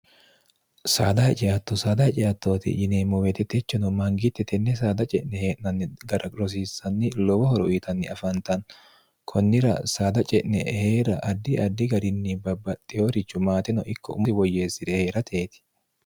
saada hiceatto saada haceattooti yineemmo weetetechono mangiitte tenne saada ce'ne hee'nanni gara rosiissanni lowo horo yitanni afantanni kunnira saada ce'ne ehee'ra addi addi garinni babbaxxeyorichu maateno ikko ummoi woyyeessi're ee'rateeti